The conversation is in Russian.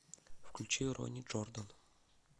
включи ронни джордан